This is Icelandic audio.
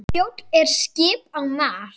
Kjóll er skip á mar.